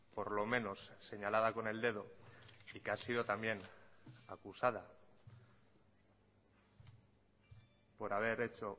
por lo menos señalada con el dedo y que ha sido también acusada por haber hecho